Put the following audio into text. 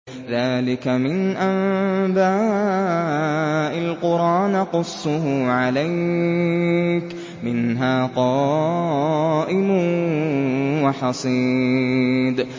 ذَٰلِكَ مِنْ أَنبَاءِ الْقُرَىٰ نَقُصُّهُ عَلَيْكَ ۖ مِنْهَا قَائِمٌ وَحَصِيدٌ